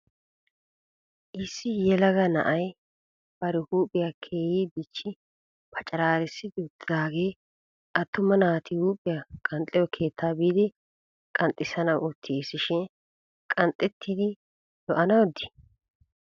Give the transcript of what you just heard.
Issi yelaga na'ay bari huuphiya keehi dichchi pacaraarisidi uttidaagee attuma naati huuphiya qanxxiyo keettaa biiddi qanxxissanawu uttis shin qanxettidi lo'anawu dii?